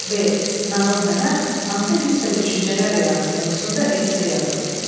B. Nağıl mənə hansı hiss və düşüncələr yaratdı mövzusunda esse yazın.